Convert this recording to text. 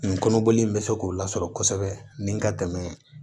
Nin kɔnɔboli in bɛ se k'o lasɔrɔ kosɛbɛ ni ka dɛmɛ